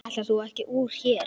Ætlaðir þú ekki úr hér?